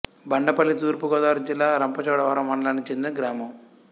బండపల్లి తూర్పు గోదావరి జిల్లా రంపచోడవరం మండలానికి చెందిన గ్రామం